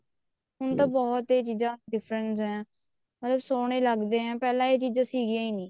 ਹੁਣ ਤਾਂ ਬਹੁਤ ਚੀਜ਼ਾਂ ਚ difference ਹੈ ਮਤਲਬ ਸੋਹਣੇ ਲੱਗਦੇ ਆ ਪਹਿਲਾਂ ਇਹ ਚੀਜ਼ਾਂ ਸੀਗੀਆਂ ਹੀ ਨਹੀਂ ਸੀ